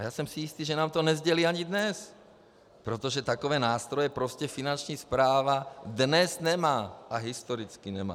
A já jsem si jistý, že nám to nesdělí ani dnes, protože takové nástroje prostě Finanční správa dnes nemá - a historicky nemá.